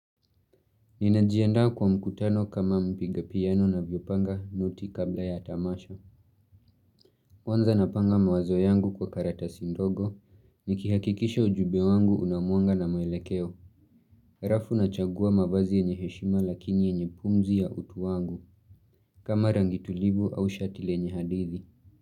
Ninajiandaa kwa mkutano kama mpiga piano anavyopanga noti kabla ya tamasha. Kwanza napanga mawazo yangu kwa karatasi ndogo nikihakikisha ujumbe wangu unamuanga na mwelekeo. Harafu nachagua mavazi yenye heshima lakini yenye pumzi ya utu wangu kama rangi tulivu au shati lenye hadithi.